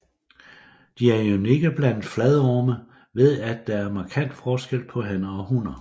De er unikke blandt fladorme ved at der er markant forskel på hanner og hunner